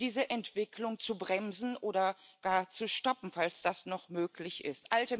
diese Entwicklung zu bremsen oder gar zu stoppen, falls das noch möglich ist.